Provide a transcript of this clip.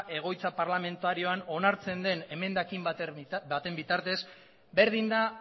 egoitza parlamentarioan onartzen den emendakin baten bitartez berdin da